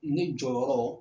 Ne jɔyɔrɔ